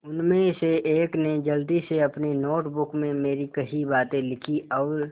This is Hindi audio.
उनमें से एक ने जल्दी से अपनी नोट बुक में मेरी कही बातें लिखीं और